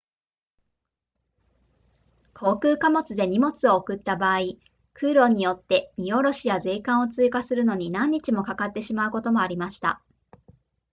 航空貨物で荷物を送った場合空路によって荷降ろしや税関を通過するのに何日もかかってしまうこともありました